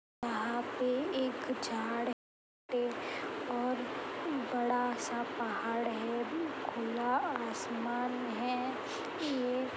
यहाँ पे एक झाड़ पे और बड़ा सा पहाड़ है खुला आसमान है। ये --